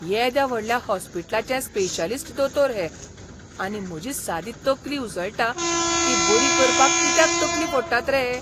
येद्या व्हडल्या हॉस्पिटलाचे स्पेशलिस्ट दोतोर हे, आनी म्हजी सादी तकली उसळटा ती बरी करपाक कित्याक तकली फोडटात रे हे!